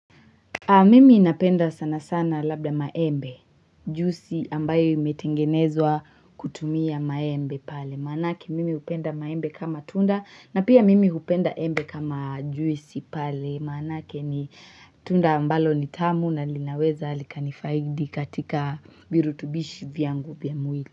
Mimi napenda sana sana labda maembe, juisi ambayo imetengenezwa kutumia maembe pale, manake mimi hupenda maembe kama tunda na pia mimi hupenda embe kama juisi pale, manake ni tunda ambalo nitamu na linaweza likanifaidi katika virutubishi vyangu vyamwili.